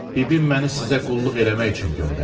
Bibim məni sizə qulluq eləmək üçün göndərib.